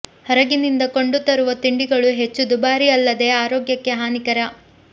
ಹೊರಗಿನಿಂದ ಕೊಂಡು ತರುವ ತಿಂಡಿಗಳು ಹೆಚ್ಚು ದುಭಾರಿ ಅಲ್ಲದೆ ಆರೋಗ್ಯಕ್ಕೆ ಹಾನಿಕರ